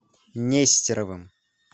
нестеровым